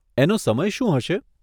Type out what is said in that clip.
એનો સમય શું હશે?